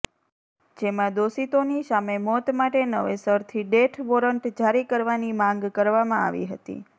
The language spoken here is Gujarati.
જેમાં દોષિતોની સામે મોત માટે નવેસરથી ડેથ વોરંટ જારી કરવાની માંગ કરવામાં આવી હતી